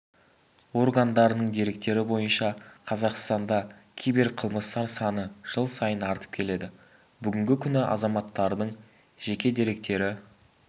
органдарының деректері бойынша қазақстанда киберқылмыстар саны жыл сайын артып келеді бүгінгі күні азаматтардың жеке деректері